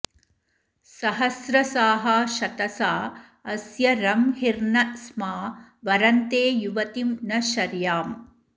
सहस्रसाः शतसा अस्य रंहिर्न स्मा वरन्ते युवतिं न शर्याम्